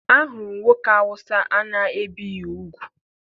Ahụrụ m nwoke Awụsa a na-ebeghị ugwu.